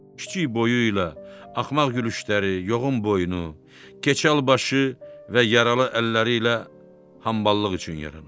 Kiçik boyuyla, axmaq gülüşləri, yoğun boynu, keçəl başı və yaralı əlləriylə hamballıq üçün yaranıb.